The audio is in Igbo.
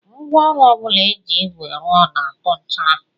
Ngwaọrụ ọ bụla e ji ígwè rụọ na-atụ nchara